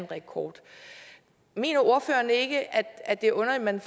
rekord mener ordføreren ikke at det er underligt at man